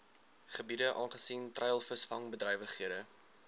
gebiede aangesien treilvisvangbedrywighede